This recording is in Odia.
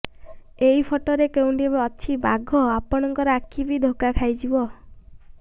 ଏହି ଫଟୋରେ କେଉଁଠି ଅଛି ବାଘ ଆପଣଙ୍କ ଆଖି ବି ଧୋକା ଖାଇଯିବ